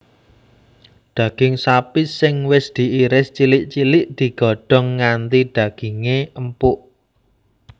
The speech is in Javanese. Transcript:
Daging sapi sing wis diiris cilik cilik digodhong nganti daginge empuk